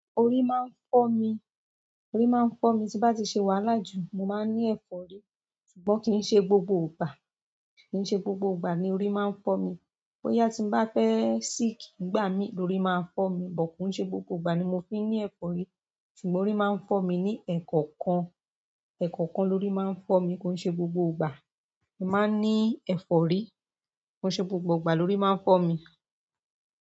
Orí máa ń fọ́ mi, orí máa ń fọ́ mi. Tí bá ti ṣe wàálà jù mò máa ń ní ẹ̀fọ́rí. Ṣùgbọ́n kí ń ṣe gbògbò ìgbà, kì í ṣe gbògbò ìgbà ni orí máà ń fọ́ mi. Ọjọ tí ń bá fẹ́ sí i kí nì ìgbá mi lórí máà ń fọ́ mi. Bọ̀ kòn ṣè gbògbò ìgbà ni mò fi ń ní ẹ̀fọ́rí ṣùgbọ́n orí máa ń fọ́ mi ní ẹ̀kọ̀kan. Ẹ̀kọ̀kan lórí máa ń fọ́ mi. Kò ń ṣe gbògbò ìgbà. Mò máà ń ní ẹ̀fọ́rí. Kò ṣe gbògbò ìgbà lórí máà ń fọ́ mi.